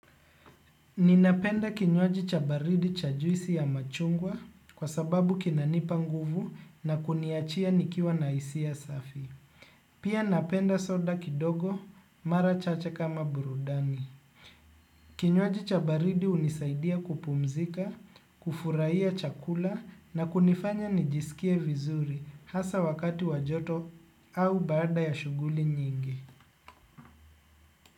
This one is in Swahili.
Ninapenda kinywaji cha baridi cha juisi ya machungwa kwa sababu kinanipa nguvu na kuniachia nikiwa na hisia safi. Pia napenda soda kidogo mara chache kama burudani. Kinywaji cha baridi hunisaidia kupumzika, kufurahia chakula na kunifanya nijisikie vizuri hasa wakati wa joto au baada ya shughuli nyingi.